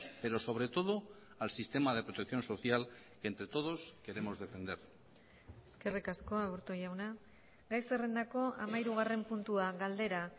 pero sobre todo al sistema de protección social entre todos queremos defender eskerrik asko aburto jauna gai zerrendako hamahirugarren puntua galdera